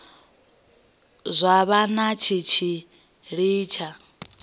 zwa vha na tshitshili tsha